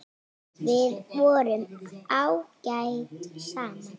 Við vorum ágæt saman.